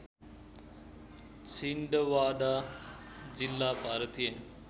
छिन्दवाडा जिल्ला भारतीय